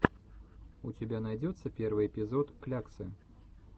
у тебя найдется первый эпизод кляксы